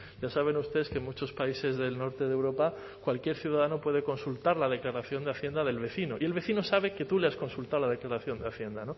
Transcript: ya saben ustedes que en muchos países del norte de europa cualquier ciudadano puede consultar la declaración de hacienda del vecino y el vecino sabe que tu le has consultado la declaración de hacienda